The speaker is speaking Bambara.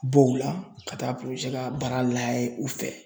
Bɔw la ka taa ka baara lajɛ u fɛ.